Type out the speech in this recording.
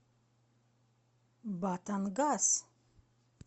батангас